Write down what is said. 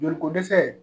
Joli ko dɛsɛ